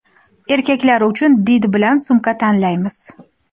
Erkaklar uchun did bilan sumka tanlaymiz.